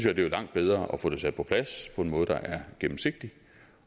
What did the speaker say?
at det er langt bedre at få det sat på plads på en måde der er gennemsigtig